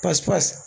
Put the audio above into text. Pasi pasi